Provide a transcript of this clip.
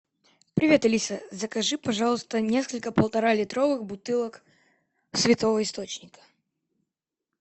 привет алиса закажи пожалуйста несколько полтора литровых бутылок святого источника